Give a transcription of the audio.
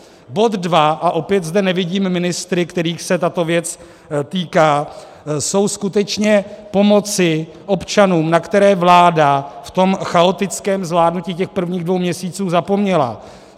Bod 2 - a opět zde nevidím ministry, kterých se tato věc týká, jsou skutečně pomoci občanům, na které vláda v tom chaotickém zvládnutí těch prvních dvou měsíců zapomněla.